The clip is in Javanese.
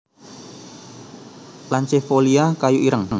lanceifolia kayu ireng